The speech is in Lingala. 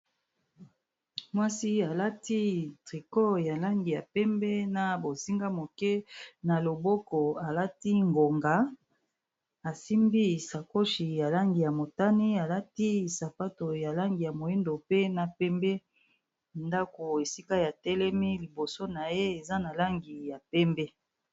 Mwasi alati triko ya langi ya pembe na bozinga moke, na loboko alati ngonga asimbi sakoshi ya langi ya motani alati sapato ya langi ya moindo pe na pembe, ndako esika ya telemi liboso na ye eza na langi ya pembe.